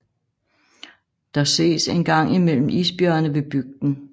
Der ses en gang imellem isbjørne ved bygden